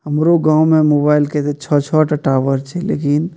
हमरो गांव में ते मोबाइल के ते छ छ ठो टावर छै लेकिन --